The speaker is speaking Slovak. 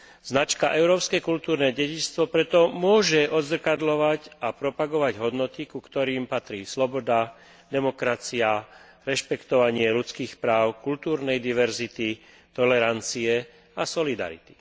Značka Európske kultúrne dedičstvo preto môže odzrkadľovať a propagovať hodnoty, ku ktorým patrí sloboda, demokracia, rešpektovanie ľudských práv, kultúrnej diverzity, tolerancie a solidarity.